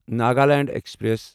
Nagaland express